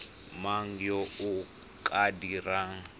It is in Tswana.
mang yo o ka dirang